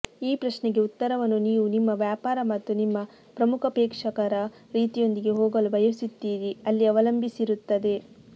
ಈ ಪ್ರಶ್ನೆಗೆ ಉತ್ತರವನ್ನು ನೀವು ನಿಮ್ಮ ವ್ಯಾಪಾರ ಮತ್ತು ನಿಮ್ಮ ಪ್ರಮುಖ ಪ್ರೇಕ್ಷಕರ ರೀತಿಯೊಂದಿಗೆ ಹೋಗಲು ಬಯಸುತ್ತೀರಿ ಅಲ್ಲಿ ಅವಲಂಬಿಸಿರುತ್ತದೆ